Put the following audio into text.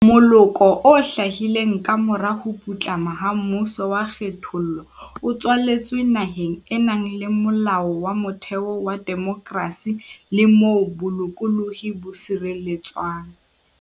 Moloko o hlahileng kamora ho putlama ha mmuso wa kgethollo o tswaletswe naheng e nang le Molao wa Motheo wa demokrasi le moo bolokolohi bo sireletswang.